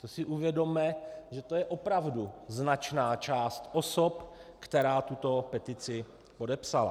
To si uvědomme, že to je opravdu značná část osob, která tuto petici podepsala.